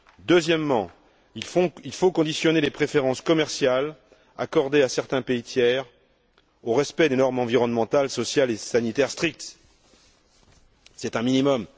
Deuxièmement, il faut conditionner les préférences commerciales accordées à certains pays tiers au respect de normes environnementales, sociales et sanitaires strictes, c'est un minimum.